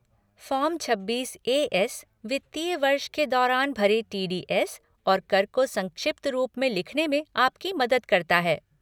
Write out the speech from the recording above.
Form छब्बीस A S वित्तीय वर्ष के दौरान भरे टी डी एस और कर को संक्षिप्त रूप में लिखने में आपकी मदद करता है।